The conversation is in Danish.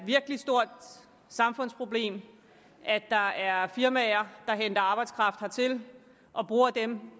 stort samfundsproblem at der er firmaer der henter arbejdskraft hertil og bruger dem